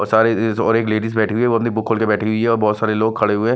बस आ रही है और एक लेडिस बैठी हुई है वो अपनी बुक खोलके बैठी हुई है और बहोत सारे लोग खड़े हुए हैं।